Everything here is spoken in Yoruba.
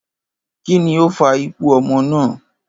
Kí ni ó fa ikú o̩mo̩ náà?